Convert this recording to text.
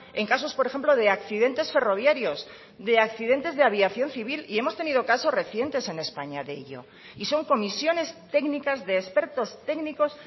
en casos por ejemplo de accidentes ferroviarios de accidentes de aviación civil y hemos tenido casos recientes en españa de ello y son comisiones técnicas de expertos técnicos